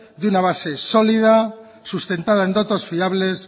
de una base sólida sustentada en datos fiables